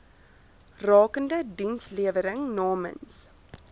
rakende dienslewering namens